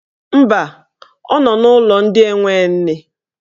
Mba, ọ nọ n'ụlọ ndị enwe nne.